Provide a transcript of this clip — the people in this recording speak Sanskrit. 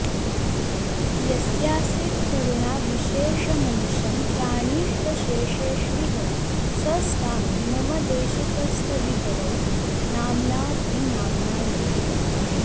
यस्यासीत्करुणा विशेषमनिशं प्राणिष्वशेषेष्विह स स्वामी मम देशिकस्तदितरो नाम्नाऽपि नाम्नायते